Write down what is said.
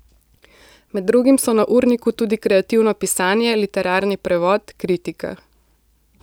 Med drugim so na urniku tudi kreativno pisanje, literarni prevod, kritika.